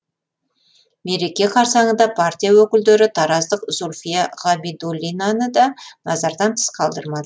мереке қарсаңында партия өкілдері тараздық зульфия ғабидуллинаны да назардан тыс қалдырмады